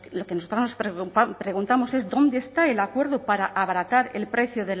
lo que nosotras nos preguntamos es dónde está el acuerdo para abaratar el precio